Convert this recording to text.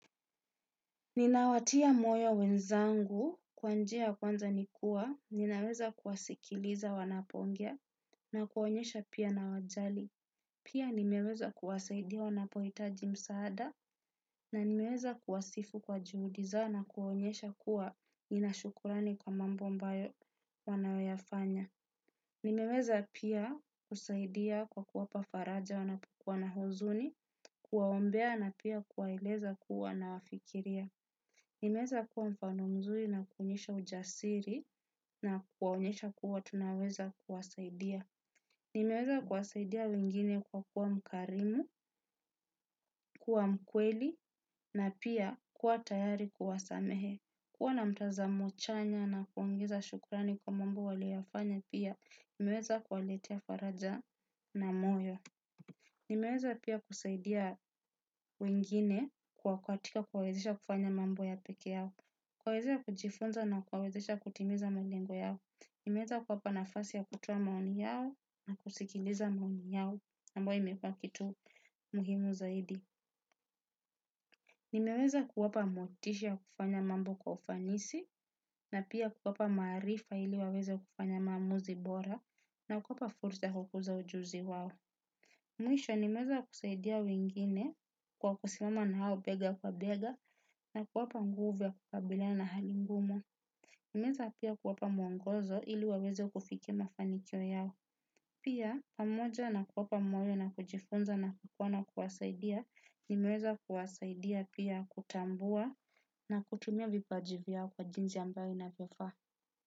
Ninawatia moyo wenzangu kwa njia ya kwanza nikua, ninaweza kuwasikiliza wanapoongea na kuonyesha pia nawajali. Pia nimeweza kuwasaidia wanapohitaji msaada. Na nimeweza kuwasifu kwa juhudi zao na kuonyesha kuwa ninashukurani kwa mambo ambayo wanayoyafanya. Nimeweza pia kusaidia kwa kuwapa faraja wanapokuwa na huzuni, kuwaombea na pia kuwaeleza kuwa na wafikiria. Nimeweza kuwa mfano mzuri na kuonyesha ujasiri na kuwaonyesha kuwa tunaweza kuwasaidia. Nimeweza kuwasaidia wengine kwa kuwa mkarimu, kuwa mkweli na pia kuwa tayari kuwasamehe. Kuwa na mtazamo chanya na kuongeza shukrani kwa mambo wanayoyafanya pia kunaweza kuwaongezea faraja na moyo. Nimeweza pia kusaidia wengine katika kuwawezesha kufanya mambo ya peke yao. Kuwawezesha kujifunza na kuwawezesha kutimiza malengo yao, nimeweza kuwapa nafasi ya kutoa maoni yao na kusikiliza maoni yao, ambayo imekua kitu muhimu zaidi. Nimeweza kuwapa motisha ya kufanya mambo kwa ufanisi, na pia kuwapa maarifa ili waweze kufanya maamuzi bora, na kuwapa fursa ya kukuza ujuzi wao. Mwisho, nimeweza kusaidia wengine, kwa kusimama nao bega kwa bega, na kuwapa nguvu ya kukabila na hali ngumu. Nimeweza pia kuwapa mwongozo ili waweze kufikia mafanikio yao. Pia pamoja na kuwapa moyo na kujifunza na kukua na kuwasaidia, nimeweza kuwasaidia pia kutambua na kutumia vipaji vyao kwa jinsi ambayo inapofaa.